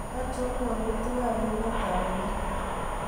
achon walutik ab emet ab amerika